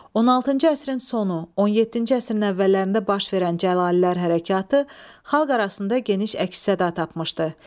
16-cı əsrin sonu, 17-ci əsrin əvvəllərində baş verən Cəlallilər Hərəkatı xalq arasında geniş əks-səda tapmışdı.